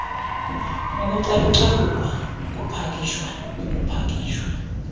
ukucalucalulwa ukupakishwa ukupakishwa